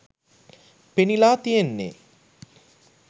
පෙනිලා තියෙන්නෙ